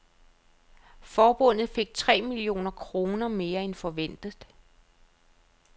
Forbundet fik tre millioner kroner mere end forventet.